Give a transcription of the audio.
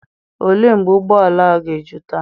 Ole mgbe ụgbọ ala a ga-eju taa?